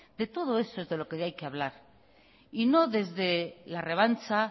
de todo esto es de lo que hay que hablar y no desde la revancha